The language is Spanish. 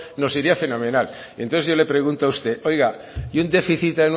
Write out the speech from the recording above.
nos iría fenomenal entonces yo le pregunto a usted oiga y un déficit